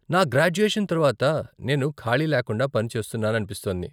నా గ్రాడ్యుయేషన్ తర్వాత నేను ఖాళీ లేకుండా పని చేస్తున్నాననిపిస్తోంది.